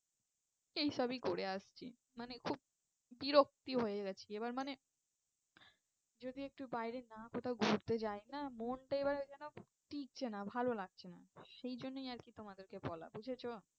এই সবই করে আসছি। মানে খুব বিরক্তি হয়ে গেছি এবার মানে যদি একটু বাইরে না কোথাও ঘুরতে যাই না মনটা এবারে যেন টিকছে না ভালো লাগছে না সেই জন্যই আর কি তোমাদেরকে বলা বুঝেছো?